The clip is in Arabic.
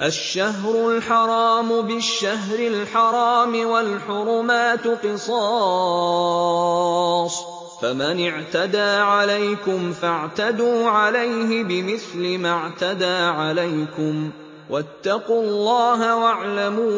الشَّهْرُ الْحَرَامُ بِالشَّهْرِ الْحَرَامِ وَالْحُرُمَاتُ قِصَاصٌ ۚ فَمَنِ اعْتَدَىٰ عَلَيْكُمْ فَاعْتَدُوا عَلَيْهِ بِمِثْلِ مَا اعْتَدَىٰ عَلَيْكُمْ ۚ وَاتَّقُوا اللَّهَ وَاعْلَمُوا